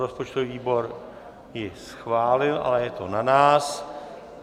Rozpočtový výbor ji schválil, ale je to na nás.